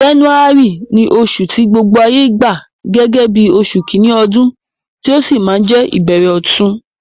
January ni osù ti gbogbo ayé gba gẹ́gẹ́ bí osù kíní odún, ti ó si ma je ìbẹ̀rẹ̀ ọ̀tun